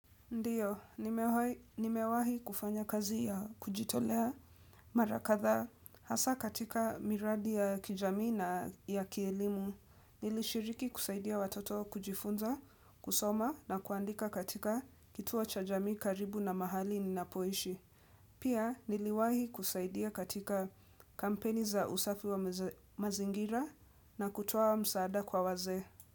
Ndiyo, nimewahi kufanya kazi ya kujitolea mara kadhaa hasa katika miradi ya kijamii na ya kielimu. Nilishiriki kusaidia watoto kujifunza, kusoma na kuandika katika kituo cha jamii karibu na mahali ninapoishi. Pia niliwahi kusaidia katika kampeni za usafi wa mazingira na kutoa msaada kwa wazee.